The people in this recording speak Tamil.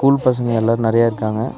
ஸ்கூல் பசங்க எல்லாரு நறையா இருக்காங்க.